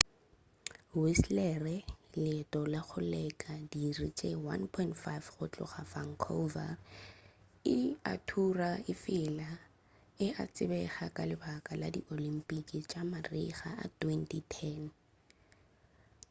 whistler leeto la go leka diiri tše 1.5 go tloga vancouver e a thura efela e a tsebega ka lebaka la di oyympic tša marega a 2010